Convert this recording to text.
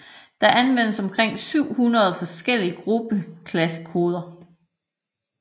Der anvendes omkring 700 forskellige gruppeklassekoder